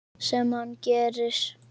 Sem hann gerir.